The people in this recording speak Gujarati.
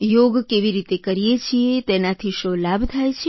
યોગ કેવી રીતે કરીએ છીએ તેનાથી શો લાભ થાય છે